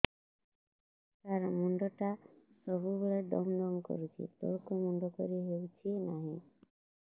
ସାର ମୁଣ୍ଡ ଟା ସବୁ ବେଳେ ଦମ ଦମ କରୁଛି ତଳକୁ ମୁଣ୍ଡ କରି ହେଉଛି ନାହିଁ